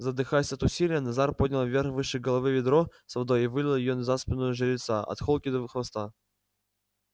задыхаясь от усилия назар поднял вверх выше головы ведро с водой и вылил её на спину жеребца от холки до хвоста